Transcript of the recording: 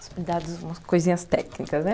umas coisinhas técnicas, né?